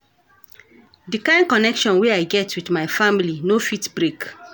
Di kain connection wey I get wit my family no fit break.